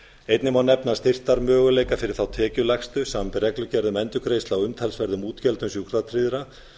einnig má nefna styrktarmöguleika fyrir þá tekjulægstu samanber reglugerð um endurgreiðslu á umtalsverðum útgjöldum sjúkratryggðra